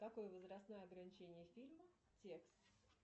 какое возрастное ограничение фильма текст